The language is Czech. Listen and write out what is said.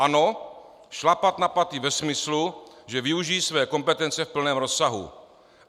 "Ano, šlapat na paty ve smyslu, že využiji své kompetence v plném rozsahu.